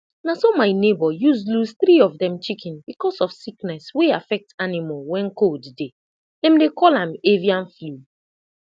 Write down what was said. na so my neighbour use lose three of dem chicken because of sickness wey affect animal when cold dey dem dey call am avian flu